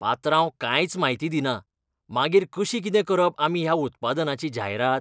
पात्रांव कांयच म्हायती दिना, मागीर कशी कितें करप आमी ह्या उत्पादनाची जायरात?